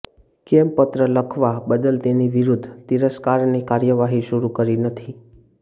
કેમ પત્ર લખવા બદલ તેની વિરુદ્ધ તિરસ્કારની કાર્યવાહી શરૂ કરી નથી